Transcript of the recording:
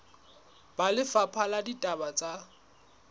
ba lefapha la ditaba tsa